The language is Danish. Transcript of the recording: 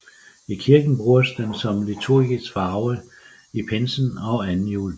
I kirken bruges den som liturgisk farve i pinsen og anden juledag